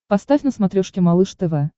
поставь на смотрешке малыш тв